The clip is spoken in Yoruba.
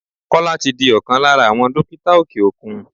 Kọ́lá tí di ọkàn lára àwọn dókítà òkè òkun.